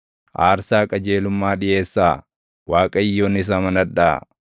Aarsaa qajeelummaa dhiʼeessaa; Waaqayyonis amanadhaa.